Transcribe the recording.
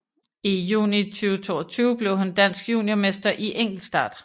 I juni 2022 blev hun dansk juniormester i enkeltstart